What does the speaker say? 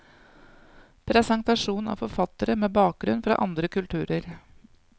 Presentasjon av forfattere med bakgrunn fra andre kulturer.